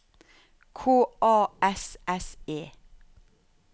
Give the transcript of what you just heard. K A S S E